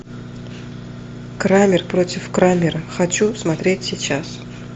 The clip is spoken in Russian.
крамер против крамера хочу смотреть сейчас